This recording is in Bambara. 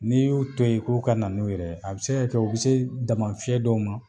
N'i y'u to ye k'u ka na n'u yɛrɛ ye a be se ka kɛ u be se dama fiyɛ dɔw ma